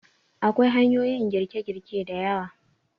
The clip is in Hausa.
Akwai hanyoyin girke-girke da yawa.